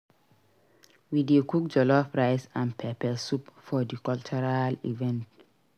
We dey cook jollof rice and pepper soup for di cultural event.